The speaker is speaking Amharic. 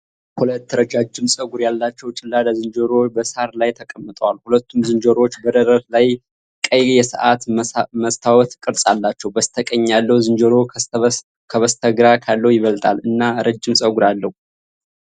ሁለት ረጃጅም ፀጉር ያላቸው ጭላዳ ዝንጀሮዎች በሣር ላይ ተቀምጠዋል። ሁለቱም ዝንጀሮዎች በደረት ላይ ቀይ የሰዓት መስታወት ቅርጽ አላቸው። በስተቀኝ ያለው ዝንጀሮ ከበስተግራ ካለው ይበልጣል እና ረጅም ፀጉር አለው።